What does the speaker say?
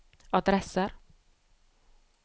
adresser